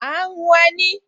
À ń hun ẹní